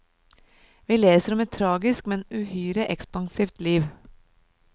Vi leser om et tragisk, men uhyre ekspansivt liv.